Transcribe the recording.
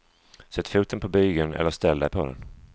Sätt foten på bygeln eller ställ dig på den.